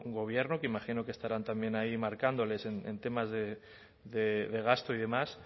gobierno que imagino que estarán también ahí marcándoles en temas de gasto y demás